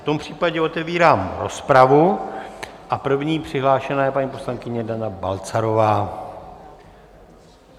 V tom případě otevírám rozpravu a první přihlášená je paní poslankyně Dana Balcarová.